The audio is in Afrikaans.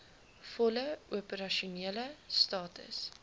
volle opersasionele status